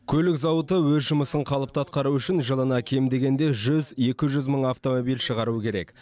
көлік зауыты өз жұмысын қалыпты атқаруы үшін жылына кем дегенде жүз екі жүз мың автомобиль шығаруы керек